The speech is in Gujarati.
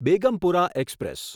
બેગમપુરા એક્સપ્રેસ